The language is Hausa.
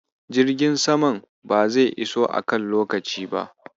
Jirgin saman ba zai iso a kan lokaci ba.